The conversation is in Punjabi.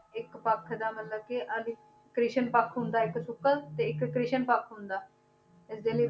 ਇੱਕ ਪੱਖ ਦਾ ਮਤਲਬ ਕਿ ਕ੍ਰਿਸ਼ਨ ਪੱਖ ਹੁੰਦਾ ਇੱਕ ਸੁੱਕਾ ਤੇ ਇੱਕ ਕ੍ਰਿਸ਼ਨ ਪੱਖ ਹੁੰਦਾ, ਇਸਦੇ ਲਈ